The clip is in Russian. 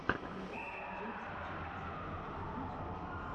влог джеймса чарльза в ютьюбе